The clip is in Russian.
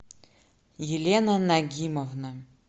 елена нагимовна